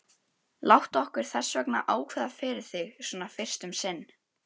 Erlendur Þorvarðarson var á alþingi, svo og Ormur Sturluson.